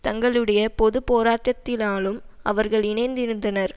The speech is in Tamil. தங்களுடைய பொது போராட்டத்தினாலும் அவர்கள் இணைந்திருந்தனர்